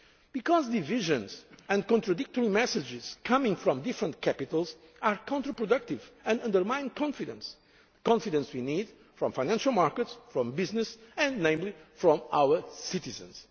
and for consumers. Because divisions and contradictory messages coming from different capitals are counterproductive and undermine confidence confidence we need from financial markets, from businesses, and particularly